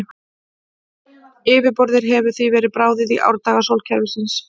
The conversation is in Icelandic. Yfirborðið hefur því verið bráðið í árdaga sólkerfisins.